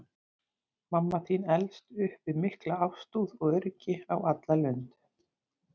Mamma þín elst upp við mikla ástúð og öryggi á alla lund.